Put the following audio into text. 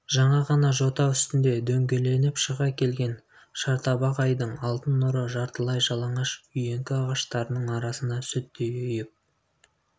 жаңа ғана жота үстіне дөңгеленіп шыға келген шартабақ айдың алтын нұры жартылай жалаңаш үйеңкі ағаштарының арасында сүттей ұйып